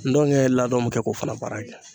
Ndɔnkɛ ladɔn be kɛ k'o fana baara kɛ.